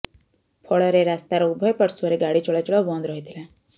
ଫଳରେ ରାସ୍ତାର ଉଭୟ ପାର୍ଶ୍ୱରେ ଗାଡି ଚଳାଚଳ ବନ୍ଦ ରହିଥିଲା